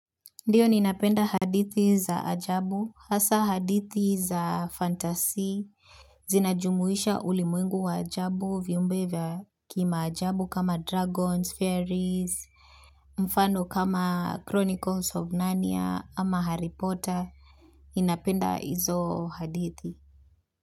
Ndiyo ninapenda hadithi za ajabu, hasa hadithi za fantasy, zinajumuisha ulimwengu wa ajabu viumbe vya kima ajabu kama dragons, fairies, mfano kama chronicles of nanya ama haripota, ninapenda hizo hadithi.